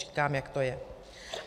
Říkám, jak to je.